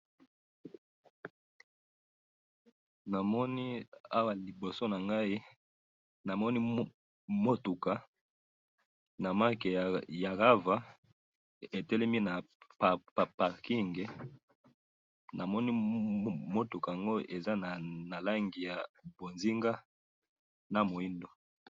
namoni awa liboso nangai, namoni mutuka na marque ya Rava, etelemi na parking, namoni mutuka yango eza na rangi ya mbonzinga, na muindo